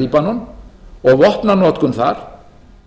líbanon og vopnanotkun þar